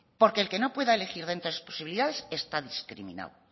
porque el que no pueda elegir dentro de las posibilidades está discriminado